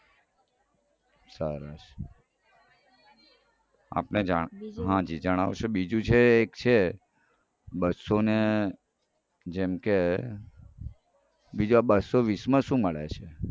સરસ હાજી જણાવશો બીજું જે છે એ છે બસોને જેમ કે બીજા બસો વીસમાં શું મળે છે.